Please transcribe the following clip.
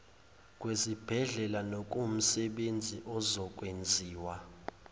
kwezibhedlela nokuwumsebenzi ozokwenziwa